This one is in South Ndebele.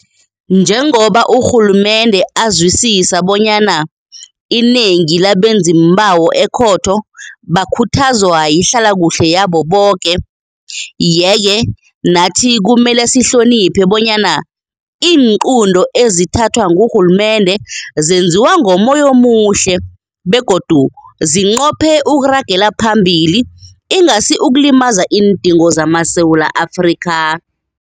Njengoba urhulumende azwisisa bonyana inengi labenziimbawo ekhotho bakhuthazwa yihlalakuhle yabo boke, yeke nathi kumele sihlo-niphe bonyana iinqunto ezithathwa ngurhulumende zenziwa ngommoya omuhle begodu zinqophe ukuragela phambili, ingasi ukulimaza iindingo zamaSewula Afrika.